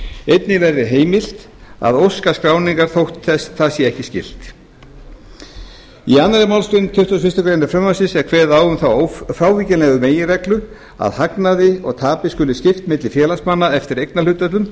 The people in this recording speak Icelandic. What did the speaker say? einnig verður heimilt að óska skráningar þótt það sé ekki skylt í annarri málsgrein tuttugustu og fyrstu grein frumvarpsins er kveðið á um þá frávíkjanlegu meginreglu að hagnaði og tapi skuli skipt milli félagsmanna eftir eignarhlutföllum